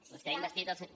vostè ha investit el senyor